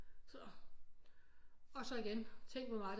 Så og så igen tænk hvor meget